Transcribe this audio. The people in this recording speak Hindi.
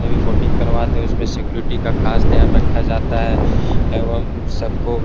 जिन्हें भी बोटिंग करवाते हैं उसमें सिक्योरिटी का खास ध्यान रखा जाता है एवं सबको --